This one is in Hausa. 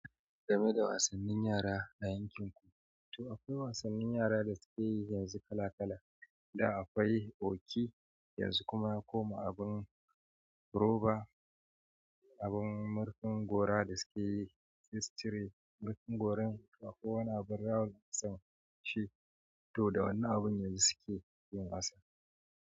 Game da wassanin yara a yankinki. To akwai wasannin yara da suke yoli yanzu kala kala. Da akwai woki, yanzu kuma ya koma abin roba, abin murfin gora da suke yi, fisri, murfin goron, ko wani abin rawa da suke yi, to da wannan abin ne suke yin wasa.